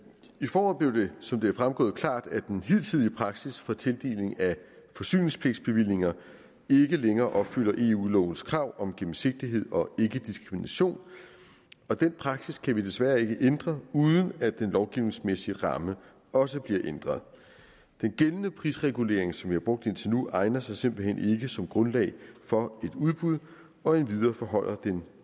i foråret blev det som det er fremgået klart at den hidtidige praksis for tildeling af forsyningspligtbevillinger ikke længere opfylder eu lovens krav om gennemsigtighed og ikkediskrimination og den praksis kan vi desværre ikke ændre uden at den lovgivningsmæssige ramme også bliver ændret den gældende prisregulering som vi har brugt indtil nu egner sig simpelt hen ikke som grundlag for et udbud og endvidere forholder den